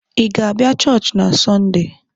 Ị ga-abịa Church na Sunday?